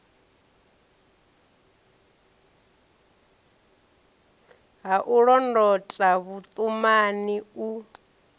ha u londota vhuṱumani u